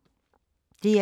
DR2